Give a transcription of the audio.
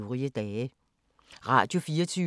Radio24syv